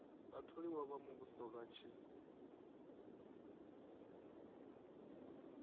vhatholiwa vha muvhuso vha tshi